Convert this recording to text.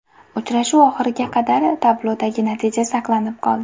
Uchrashuv oxiriga qadar tablodagi natija saqlanib qoldi.